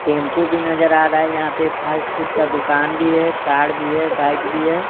Tempo भी नजर आ रहा है यहाँ पे एक फ़ास्ट फूड का दुकान भी है कार भी है बाइक भी है।